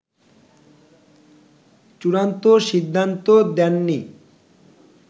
চুড়ান্ত সিদ্ধান্ত দেননি